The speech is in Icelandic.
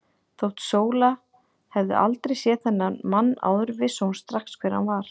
Þótt Sóla hefði aldrei séð þennan mann áður vissi hún strax hver hann var.